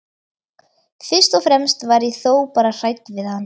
Fyrst og fremst var ég þó bara hrædd við hann.